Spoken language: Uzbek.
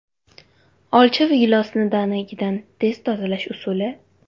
Olcha va gilosni danagidan tez tozalash usuli .